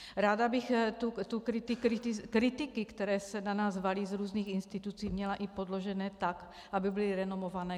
Ráda bych ty kritiky, které se na nás valí z různých institucí, měla i podložené tak, aby byly renomované.